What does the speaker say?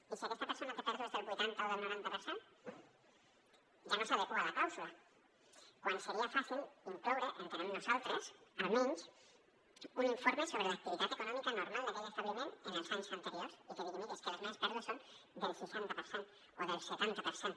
i si aquesta persona té pèrdues del vuitanta o del noranta per cent ja no s’adequa a la clàusula quan seria fàcil incloure entenem nosaltres almenys un informe sobre l’activitat econòmica normal d’aquell establiment en els anys anteriors i que digui miri és que les meves pèrdues són del seixanta per cent o del setanta per cent